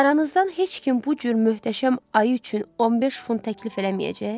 Aranızdan heç kim bu cür möhtəşəm ayı üçün 15 funt təklif eləməyəcək?